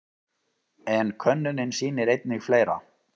En könnunin sýnir einnig fleira.